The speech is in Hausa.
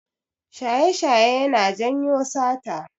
Shaye-shaye yana janyo sata.